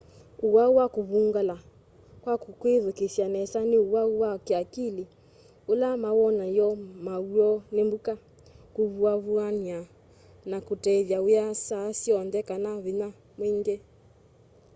uwau wa kuvungula kwa kwithukiisya nesa ni uwau wa kiakili ula mawonany'o maw'o ni mbuka kuvuavuana na kutethya wia saa syonthe kana vinya mwingi